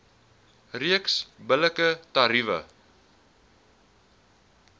reeks billike tariewe